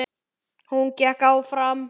Hún gekk fram.